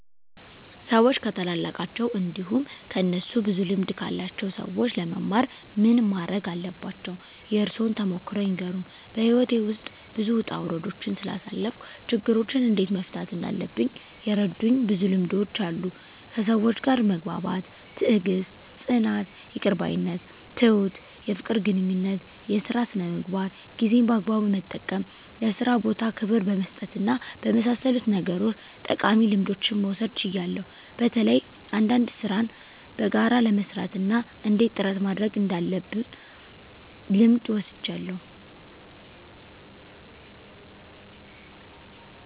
ሰዎች ከታላላቃቸው እንዲሁም ከእነሱ ብዙ ልምድ ካላቸው ሰዎች ለመማር ምን ማረግ አለባቸው? የእርሶን ተሞክሮ ይንገሩን? *በሕይወቴ ውስጥ ብዙ ውጣ ውረዶችን ስላሳለፍኩ፣ ችግሮችን እንዴት መፍታት እንዳለብኝ የረዱኝ ብዙ ልምዶች አሉ፤ ከሰዎች ጋር መግባባት፣ ትዕግስት፣ ጽናት፣ ይቅር ባይነት፣ ትሁት፣ የፍቅር ግንኙነት፣ የሥራ ሥነ ምግባር፣ ጊዜን በአግባቡ መጠቀም፣ ለሥራ ቦታ ክብር በመስጠትና በመሳሰሉት ነገሮች ጠቃሚ ልምዶችን መውሰድ ችያለሁ። በተለይ አንዳንድ ሥራን በጋራ ለመሥራት እና እንዴት ጥረት ማድረግ እንዳለብ ልምድ ወስጃለሁ።